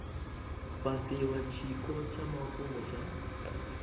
fhatiwa tshiko tsha mafhungo tsha